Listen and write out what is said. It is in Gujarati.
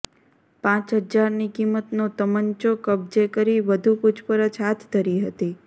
પાંચ હજારની કિંમતનો તમંચો કબજે કરી વધુ પુછપરછ હાથ ધરી હતી